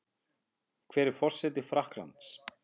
Hver er forseti Frakklands?